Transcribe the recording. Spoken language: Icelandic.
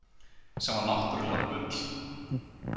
Sem var náttúrlega bull.